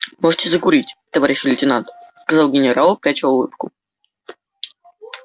можете закурить товарищ лейтенант сказал генерал пряча улыбку